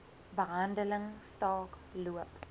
behandeling staak loop